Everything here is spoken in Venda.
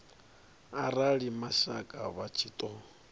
arali mashaka vha tshi ṱo